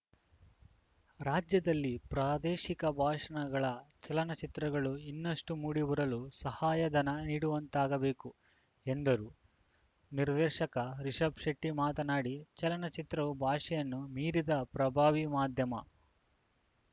ರಾಜ್ಯದಲ್ಲಿ ಪ್ರಾದೇಶಿಕ ಭಾಷಣ ಗಳ ಚಲನಚಿತ್ರಗಳು ಇನ್ನಷ್ಟುಮೂಡಿಬರಲು ಸಹಾಯಧನ ನೀಡುವಂತಾಗಬೇಕು ಎಂದರು ನಿರ್ದೇಶಕ ರಿಷಭ್‌ ಶೆಟ್ಟಿಮಾತನಾಡಿ ಚಲನಚಿತ್ರವು ಭಾಷೆಯನ್ನು ಮೀರಿದ ಪ್ರಭಾವಿ ಮಾಧ್ಯಮ